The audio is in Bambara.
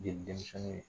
Jeli denmisɛnninw